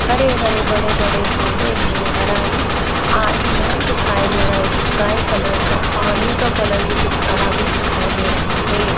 सामने की साइड पे एक काउंटर बना हुआ है जो सफेद और गठे रंग की है एक आदमी खरा हुआ है बैठा हुआ है फ़ोन से बात कर रहा है और मास्क लगया हुआ है।